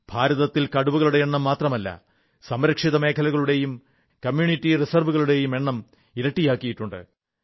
ഭാരതത്തിൽ കടുവകളുടെ എണ്ണം മാത്രമല്ല സംരക്ഷിത മേഖലകളുടെയും കമ്യൂണിറ്റി റിസർവ്കളുടെയും എണ്ണം ഇരട്ടിയാക്കിയിട്ടുണ്ട്